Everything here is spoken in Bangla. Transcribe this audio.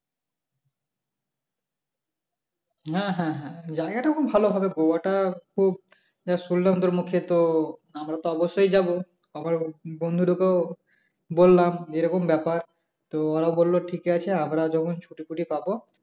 হ্যাঁ হ্যাঁ জায়গাটা খুব ভালো হবে গোয়াটা, যা শুনলাম তোর মুখে তো আমরা তো অবশ্যই যাব বললাম এরকম ব্যাপার তো ওরা বলল ঠিক আছে আমরা যখন ছুটি ছুটি পাব